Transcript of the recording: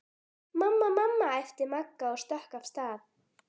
Mamma, mamma æpti Magga og stökk af stað.